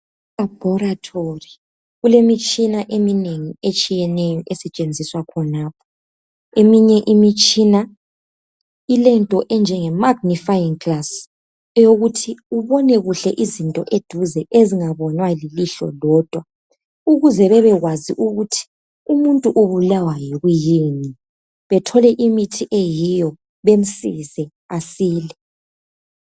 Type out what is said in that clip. Elabhorothori kulemitshina eminengi etshiyeneyo esetshenziswa khonapho eminye imitshina ilento enjenge magnfying glass eyokuthi ubone kuhle izinto eduze ezingabonwa lilihlo lodwa ukuze bebekwazi ukuthi umuntu ubulawa yikuyini bethole imithi eyiyo bemsize asile.